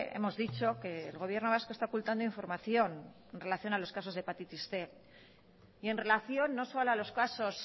hemos dicho que el gobierno vasco está ocultando información en relación a los casos de hepatitis cien y en relación no solo a los casos